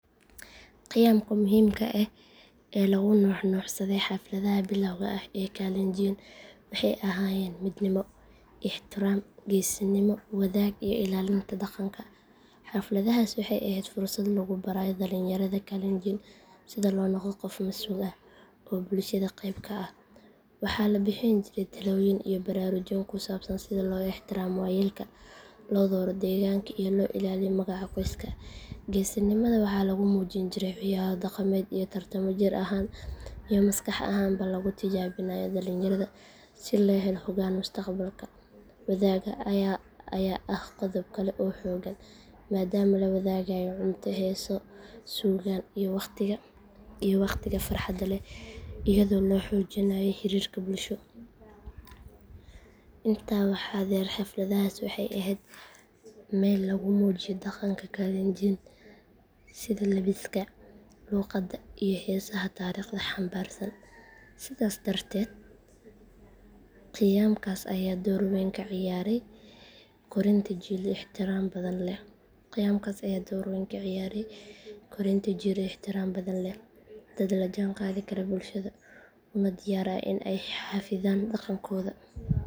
Qiyamka muhiimka ah ee lagu nuuxnuuxsaday xafladaha bilawga ah ee kalenjiin waxay ahaayeen midnimo, ixtiraam, geesinimo, wadaag iyo ilaalinta dhaqanka. Xafladahaasi waxay ahayd fursad lagu barayo dhallinyarada kalenjiin sida loo noqdo qof mas’uul ah oo bulshada qayb ka ah. Waxaa la bixin jiray talooyin iyo baraarujin ku saabsan sida loo ixtiraamo waayeelka, loo dhawro deegaanka iyo loo ilaaliyo magaca qoyska. Geesinimada waxaa lagu muujin jiray ciyaaro dhaqameed iyo tartamo jir ahaan iyo maskax ahaanba lagu tijaabinayo dhallinyarada si loo helo hoggaan mustaqbalka. Wadaagga ayaa ah qodob kale oo xooggan maadaama la wadaagayo cunto, heeso, suugaan iyo waqtiga farxadda leh iyadoo la xoojinayo xiriirka bulsho. Intaa waxaa dheer xafladahaas waxay ahayd meel lagu muujiyo dhaqanka kalenjiin sida labiska, luqadda, iyo heesaha taariikhda xambaarsan. Sidaas darteed qiyamkaas ayaa door weyn ka ciyaaray korinta jiil ixtiraam badan leh, dad la jaanqaadi kara bulshada una diyaar ah in ay xafidaan dhaqankooda.